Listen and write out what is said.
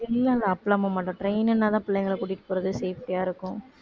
இல்ல இல்ல அப்படியெல்லாம் போகமாட்டோம் train ன்னுனா தான் பிள்ளைங்கள கூட்டிட்டு போகறது safety ஆ இருக்கும்